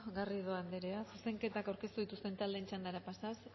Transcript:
garrido anderea zuzenketak aurkeztu dituzten taldeen txandara pasatuz